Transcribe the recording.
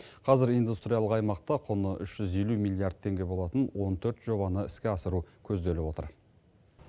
қазір индустриялық аймақта құны үш жүз елу миллиард теңге болатын он төрт жобаны іске асыру көзделіп отыр